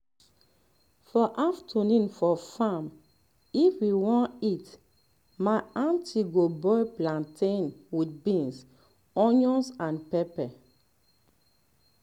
for afternoon for farm if we won eat my aunty go boil plantain with beans onions and pepper